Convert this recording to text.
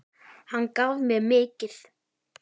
Hann gaf mér mikið.